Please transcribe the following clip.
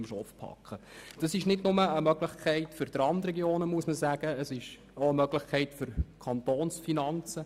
Die Digitalisierung ist nicht nur eine Chance für die Randregionen, sondern auch für die Kantonsfinanzen.